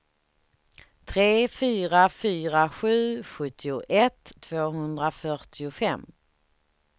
tre fyra fyra sju sjuttioett tvåhundrafyrtiofem